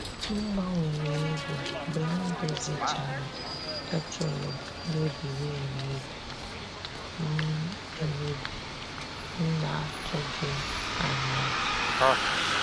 M gbanwere ego mgbe m dozichara ketụlụ mebiri emebi m emebi m na-atụghị anya ya.